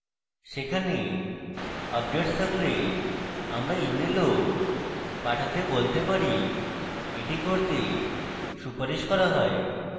সেখানে updates থাকলে আমরা ismail পাঠাতে বলতে পারি এটি করতে সুপারিশ করা হয়